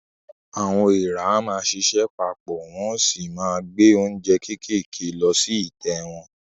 Àwọn èèrà á máa ṣiṣẹ́ pa pọ̀, wọ́n o sì máa gbé oúnjẹ kéékèèké lọ sí ìtẹ́ wọn.